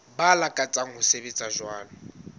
ba lakatsang ho sebetsa jwalo